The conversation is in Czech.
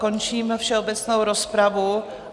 Končím všeobecnou rozpravu.